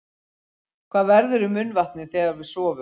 Hvað verður um munnvatnið þegar við sofum?